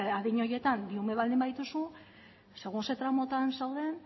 adin horietan bi ume baldin badituzu segun zein tramutan zauden